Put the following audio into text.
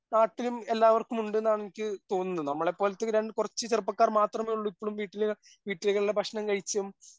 നാട്ടിലും എല്ലാവർക്കും ഉണ്ട്ന്നാണ് എനിക്ക് തോന്നുന്നത്. നമ്മളെ പോലത്തെ ഈ രണ്ട് കുറച്ച് ചെറുപ്പക്കാർ മാത്രമേയുള്ളൂ ഇപ്പോഴും വീട്ടില് വീട്ടിലെകളിലെ ഭക്ഷണം കഴിച്ചും